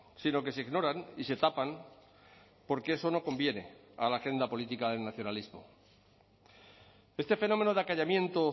sino que se ignoran y se tapan porque eso no conviene a la agenda política del nacionalismo este fenómeno de acallamiento